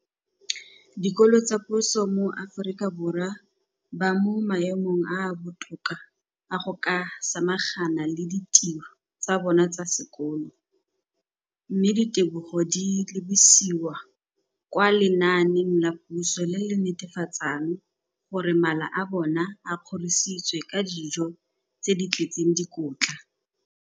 Dikolo tsa puso mo Aforika Borwa ba mo maemong a a botoka a go ka samagana le ditiro tsa bona tsa sekolo, mme ditebogo di lebisiwa kwa lenaaneng la puso le le netefatsang gore mala a bona a kgorisitswe ka dijo tse di tletseng dikotla.